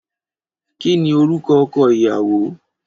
Kí ni orúkọ ọkọ ìyàwó?